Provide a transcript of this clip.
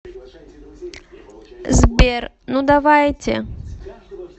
сбер ну давайте